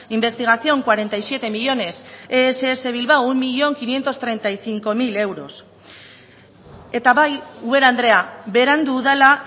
investigación cuarenta y siete millónes ess bilbao un millón quinientos treinta y cinco mil euros eta bai ubera andrea berandu dela